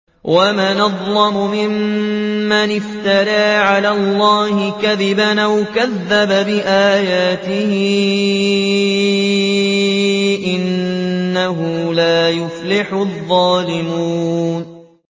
وَمَنْ أَظْلَمُ مِمَّنِ افْتَرَىٰ عَلَى اللَّهِ كَذِبًا أَوْ كَذَّبَ بِآيَاتِهِ ۗ إِنَّهُ لَا يُفْلِحُ الظَّالِمُونَ